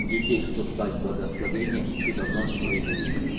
детей что б дать благословение и чудо вновь свою явить